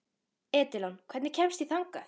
Edilon, hvernig kemst ég þangað?